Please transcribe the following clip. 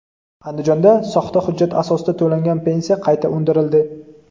Andijonda soxta hujjat asosida to‘langan pensiya qayta undirildi.